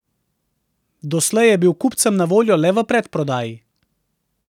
Doslej je bil kupcem na voljo le v predprodaji.